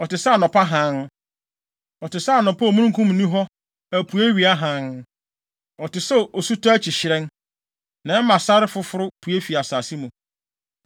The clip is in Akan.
ɔte sɛ anɔpa hann, ɔte sɛ anɔpa a omununkum nni hɔ apueiwia hann; ɔte sɛ osutɔ akyi hyerɛn, na ɛma sare foforo pue fi asase mu.’